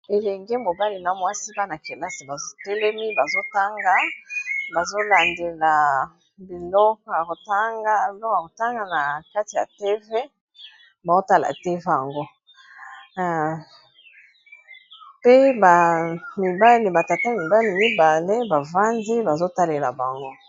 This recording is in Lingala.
Elenge mobali na mwasi bana-kelasi bazo telemi bazotanga bazolandela biloko ya kotanga na kati ya tv baotala te ango pe ba mibali ba tata mibali mibale bavandi bazotalela bango.